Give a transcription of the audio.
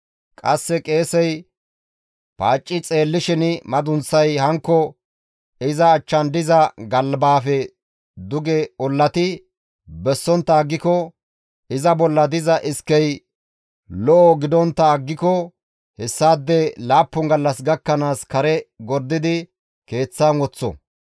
Qasseka qeesey paacci xeellishin madunththay hankko iza achchan diza galbaafe duge ollati bessontta aggiko, iza bolla diza iskey lo7o gidontta aggiko hessaade laappun gallas gakkanaas kare gordidi keeththan woththo.